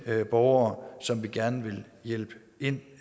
borgere som vi gerne vil hjælpe ind